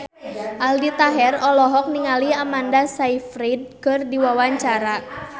Aldi Taher olohok ningali Amanda Sayfried keur diwawancara